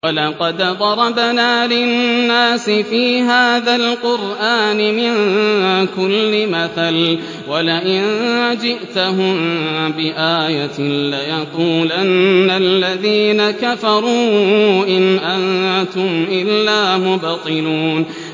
وَلَقَدْ ضَرَبْنَا لِلنَّاسِ فِي هَٰذَا الْقُرْآنِ مِن كُلِّ مَثَلٍ ۚ وَلَئِن جِئْتَهُم بِآيَةٍ لَّيَقُولَنَّ الَّذِينَ كَفَرُوا إِنْ أَنتُمْ إِلَّا مُبْطِلُونَ